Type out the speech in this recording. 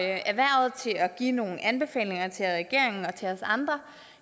erhvervet til at give nogle anbefalinger til regeringen og til os andre